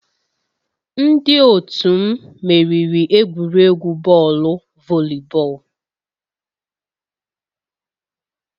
Ndị otu m meriri egwuregwu bọọlụ volleyball